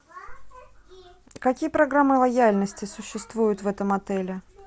какие программы лояльности существуют в этом отеле